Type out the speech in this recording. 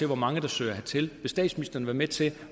hvor mange der søger hertil vil statsministeren være med til